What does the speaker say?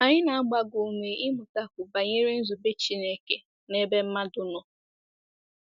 Anyị na-agba gị ume ịmụtakwu banyere nzube Chineke n'ebe mmadụ nọ.